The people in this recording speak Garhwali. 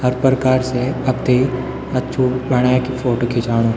हर प्रकार से आपथै अच्छु बणैकी फोटो खिचाणु।